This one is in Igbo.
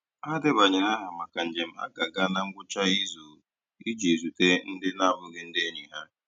Ha debanyere aha maka njem a ga-aga na ngwụcha izu iji zute ndị na-abụghị ndị enyi ha.